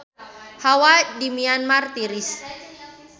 Hawa di Myanmar tiris